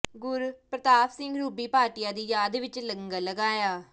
ਗੁਰਪ੍ਰਤਾਪ ਸਿੰਘ ਰੂਬੀ ਭਾਟੀਆ ਦੀ ਯਾਦ ਵਿਚ ਲ਼ੰਗਰ ਲਗਾਇਆ